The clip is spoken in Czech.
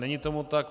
Není tomu tak.